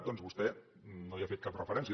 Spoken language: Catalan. doncs vostè no hi ha fet cap referència